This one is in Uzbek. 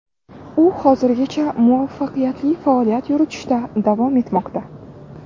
U hozirgacha muvaffaqiyatli faoliyat yuritishda davom ettirmoqda.